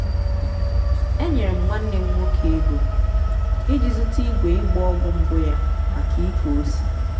enyere m nwanne m nwoke ego iji zụta igwe ịgba ọgwụ mbụ ya maka ịkọ ose.